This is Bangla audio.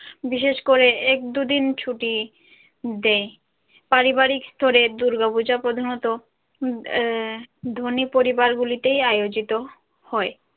বিশেষ করে এক দুদিন ছুটি দেয় পারিবারিক স্তরে দূর্গাপূজা প্রধানত উম ধনী পরিবার গুলিতেই আয়োজিত হয়।